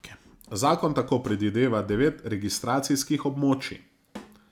Zakon tako predvideva devet registracijskih območij.